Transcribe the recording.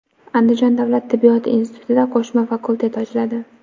Andijon davlat tibbiyot institutida qo‘shma fakultet ochiladi.